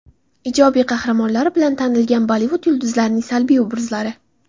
Ijobiy qahramonlari bilan tanilgan Bollivud yulduzlarining salbiy obrazlari .